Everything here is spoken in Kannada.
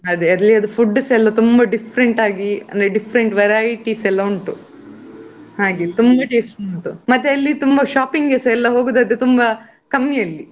ಅದೇ ಅಲ್ಲಿ ಅದು food ಸ ತುಂಬಾ different ಆಗಿ ಅಂದ್ರೆ different varieties ಎಲ್ಲಾ ಉಂಟು, ಹಾಗೆ ತುಂಬಾ taste ಉಂಟು. ಮತ್ತೆ ಅಲ್ಲಿ ತುಂಬಾ shopping ಗೆಸ ತುಂಬಾ ಎಲ್ಲಾ ಹೋಗುದಾದರೆ ಕಮ್ಮಿ ಅಲ್ಲಿ.